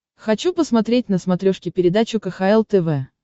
хочу посмотреть на смотрешке передачу кхл тв